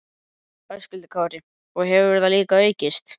Höskuldur Kári: Og hefur það líka aukist?